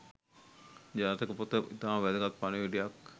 ජාතක පොත ඉතාම වැදගත් පණිවිඩයක්